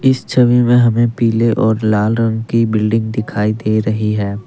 इस छवि में हमें पीले और लाल रंग की बिल्डिंग दिखाई दे रही है।